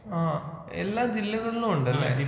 ആഹ് എല്ലാ ജില്ലകളിലും ഉണ്ടല്ലേ?